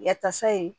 Yatasa in